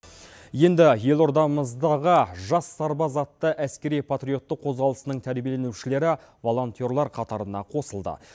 енді елордамыздағы жас сарбаз атты әскери патриотты қозғалысының тәрбиеленушілері волонтерлар қатарына қосылды